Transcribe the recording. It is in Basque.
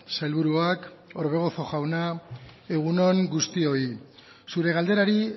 sailburuak orbegozo jauna egun on guztioi zure galderari